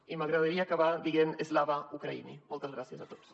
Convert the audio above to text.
i m’agradaria acabar dient slava ukraini moltes gràcies a tots